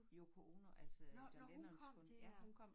Yoko Ono altså John Lennons kone ja hun kom